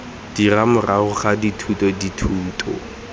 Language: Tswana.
dira morago ga dithuto dithuto